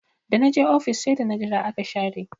Da na je ofis sai da na jira aka share